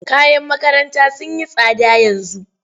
Kayan makaranta sun yi tsada yanzu.